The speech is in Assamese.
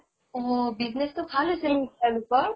অহ business টো ভাল হৈছে তেওঁলোকৰ